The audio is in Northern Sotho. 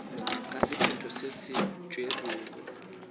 ka sephetho se se tšerwego